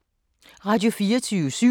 Radio24syv